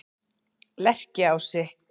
Lerkiási